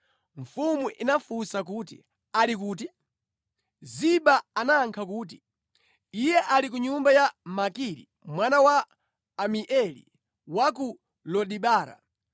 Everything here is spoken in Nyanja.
Mfumu inafunsa kuti, “Ali kuti?” Ziba anayankha kuti, “Iye ali ku nyumba ya Makiri mwana wa Amieli ku Lodebara.”